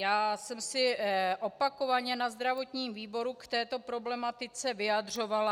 Já jsem se opakovaně na zdravotním výboru k této problematice vyjadřovala.